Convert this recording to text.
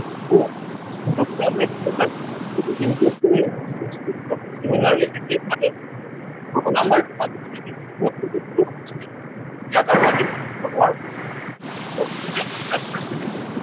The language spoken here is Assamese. similerly একেই মানে, two number টো কাষত ৰাখি, two two two লিখিম। ইয়াক আৰু আমি ভাঙিব নোৱাৰো।